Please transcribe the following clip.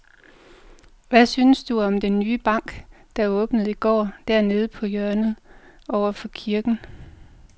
Hvad synes du om den nye bank, der åbnede i går dernede på hjørnet over for kirken?